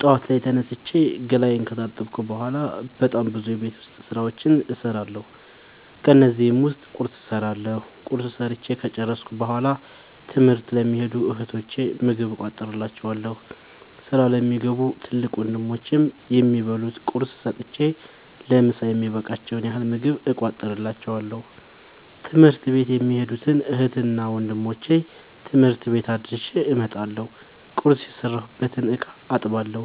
ጠዋት ላይ ተነስቼ ገላየን ከታጠብኩ በሗላ በጣም ብዙ የቤት ዉስጥ ስራዎችን እሠራለሁ። ከነዚህም ዉስጥ ቁርስ እሠራለሁ። ቁርስ ሠርቸ ከጨረሥኩ በሗላ ትምህርት ለሚኸዱ እህቶቸ ምግብ እቋጥርላቸዋለሁ። ስራ ለሚገቡ ትልቅ ወንድሞቼም የሚበሉት ቁርስ ሰጥቸ ለምሣ የሚበቃቸዉን ያህል ምግብ እቋጥርላቸዋለሁ። ትምህርት ቤት የሚኸዱትን እህትና ወንድሞቼ ትምህርት ቤት አድርሼ እመጣለሁ። ቁርስ የሰራሁበትን እቃ አጥባለሁ።